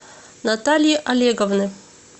натальи олеговны